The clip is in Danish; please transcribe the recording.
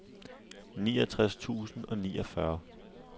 niogtres tusind og niogfyrre